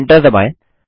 enter दबाएँ